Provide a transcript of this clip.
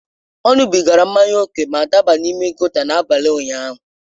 Ọ ṅụbigara mmanya ókè ma daba n’ime gòta n’abalị ụnyaahụ.